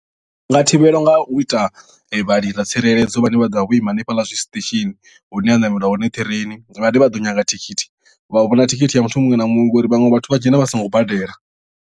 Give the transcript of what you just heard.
Zwi nga thivhelwa nga u ita vhalindi tsireledzo vhane vha ḓo vha vho ima hanefhaḽa zwi station hune ha ṋamelwa hone train vhane vha ḓo nyaga thikhithi vha vhona thikhithi ya muthu muṅwe na muṅwe ngauri vhaṅwe vhathu vha dzhena vha songo badela.